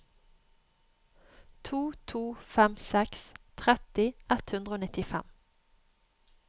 to to fem seks tretti ett hundre og nittifem